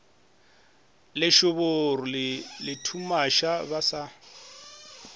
lešoboro le lethumaša ba sa